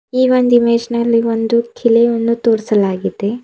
ಈ ಒಂದ್ ಇಮೇಜ್ ನಲ್ಲಿ ಒಂದು ಕಿಲೆವನ್ನು ತೋರಿಸಲಾಗಿದೆ.